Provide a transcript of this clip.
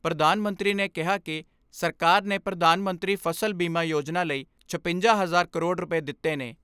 ਪ੍ਰਧਾਨ ਮੰਤਰੀ ਨੇ ਕਿਹਾ ਕਿ ਸਰਕਾਰ ਨੇ ਪ੍ਰਧਾਨ ਮੰਤਰੀ ਫਸਲ ਬੀਮਾ ਯੋਜਨਾ ਲਈ ਛਪੰਜਾ ਹਜ਼ਾਰ ਕਰੋੜ ਰੁਪੈ ਦਿੱਤੇ ਨੇ।